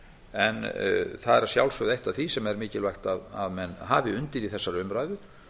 en það er að sjálfsögðu eitt af því sem er mikilvægt að menn hafi undir í þessari umræðu